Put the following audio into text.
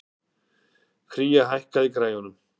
Kría, hækkaðu í græjunum.